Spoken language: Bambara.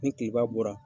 Ni tilema bɔra